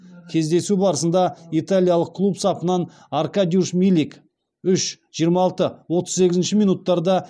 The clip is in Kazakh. кездесу барысында италиялық клуб сапынан аркадиуш милик үш жиырма алты отыз сегізінші минуттарда